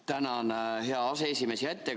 Tänan, hea aseesimees!